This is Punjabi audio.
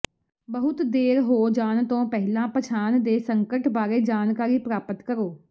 ਬਹੁਤ ਦੇਰ ਹੋ ਜਾਣ ਤੋਂ ਪਹਿਲਾਂ ਪਛਾਣ ਦੇ ਸੰਕਟ ਬਾਰੇ ਜਾਣਕਾਰੀ ਪ੍ਰਾਪਤ ਕਰੋ